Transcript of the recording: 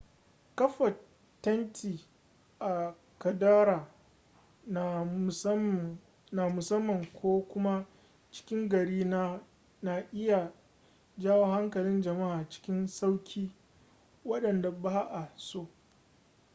kafa tenti a kaddara na musamman ko kuma cikin gari na iya jawo hankalin jama'a cikin sauki wanda ba'a so